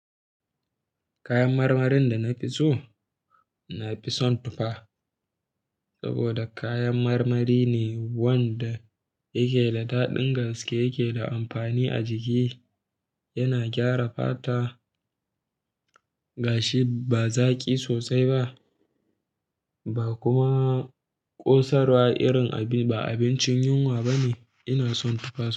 Kayan marmarin da na fi so, na fi son tufa saboda kayan marmari ne wanda yake da daɗin gaske, yake da amfani a jiki, yana gyara fata, gashi, ba zaƙi sosai ba, ba kuma ƙosarwa irin ba abincin yunwa bane. Ina son tufa.